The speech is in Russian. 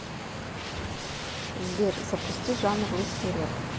сбер запусти жанр русский реп